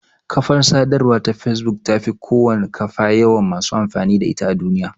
Kafar sadarwa ta facebook tafi kowane kafa yawan masu amfani da ita a duniya.